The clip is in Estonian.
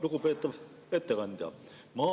Lugupeetav ettekandja!